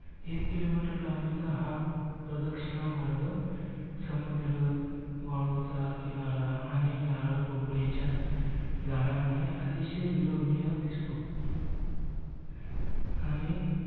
एक kilometre लांबीचा हा प्रदक्षिणामार्ग समुद्र वाळूचा किनारा आणि नारळ पोकळीच्या झाडांमुळे अतिशय विलोभनीय दिसतो. आणि